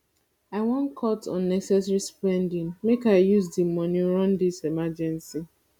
i wan cut unnecessary spending make i use di moni run dis emergency